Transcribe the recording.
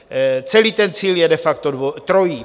Celý ten cíl je de facto trojí.